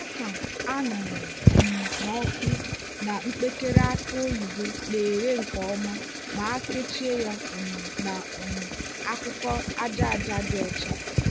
oka a ṅara um n'ọkụ na mpekere aki oyibo na-ere nke ọma ma a kechie ya um na um akwụkwọ aja aja dị ọcha.